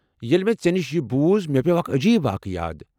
ییلہِ مے٘ ژےٚ نِش یہِ بوُز مے٘ پییو٘ اكھ عجیب واقع یاد ۔